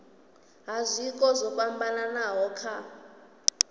ha zwiko zwo fhambanaho kha